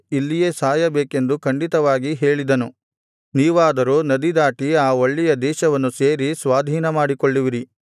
ಇಲ್ಲಿಯೇ ಸಾಯಬೇಕೆಂದು ಖಂಡಿತವಾಗಿ ಹೇಳಿದನು ನೀವಾದರೋ ನದಿದಾಟಿ ಆ ಒಳ್ಳೆಯ ದೇಶವನ್ನು ಸೇರಿ ಸ್ವಾಧೀನಮಾಡಿಕೊಳ್ಳುವಿರಿ